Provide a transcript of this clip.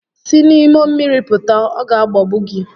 Si n'ime mmiri pụta, ọ ga agbagbu gi